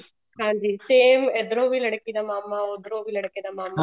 ਹਾਂਜੀ ਤੇ same ਇੱਧਰੋ ਵੀ ਲੜਕੀ ਦਾ ਮਾਮਾ ਉੱਧਰੋ ਵੀ ਲੜਕੇ ਦਾ ਮਾਮਾ